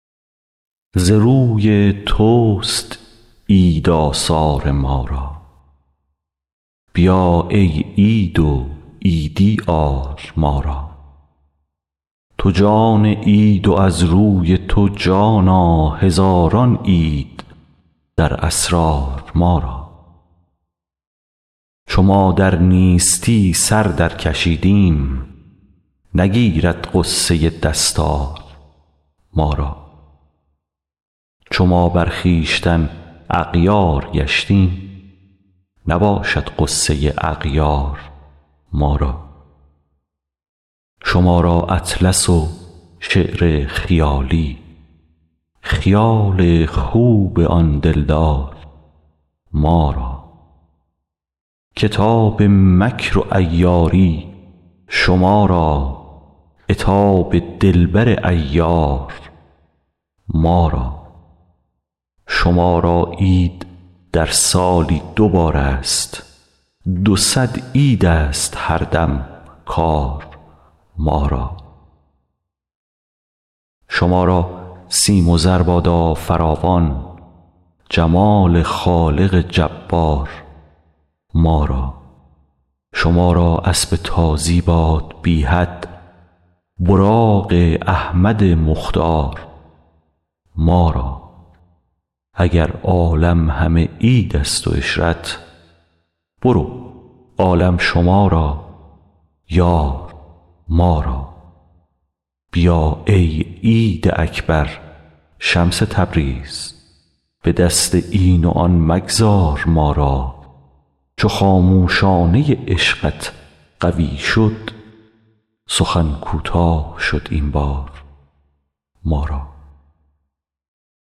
ز روی تست عید آثار ما را بیا ای عید و عیدی آر ما را تو جان عید و از روی تو جانا هزاران عید در اسرار ما را چو ما در نیستی سر درکشیدیم نگیرد غصه دستار ما را چو ما بر خویشتن اغیار گشتیم نباشد غصه اغیار ما را شما را اطلس و شعر خیالی خیال خوب آن دلدار ما را کتاب مکر و عیاری شما را عتاب دلبر عیار ما را شما را عید در سالی دو بارست دو صد عیدست هر دم کار ما را شما را سیم و زر بادا فراوان جمال خالق جبار ما را شما را اسب تازی باد بی حد براق احمد مختار ما را اگر عالم همه عیدست و عشرت برو عالم شما را یار ما را بیا ای عید اکبر شمس تبریز به دست این و آن مگذار ما را چو خاموشانه عشقت قوی شد سخن کوتاه شد این بار ما را